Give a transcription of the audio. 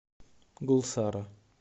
гулсара